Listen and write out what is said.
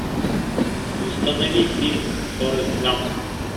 установи фильм форест гамп